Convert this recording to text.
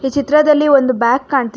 ಈ ಚಿತ್ರದಲ್ಲಿ ಒಂದು ಬ್ಯಾಕ್ ಕಾಣ್--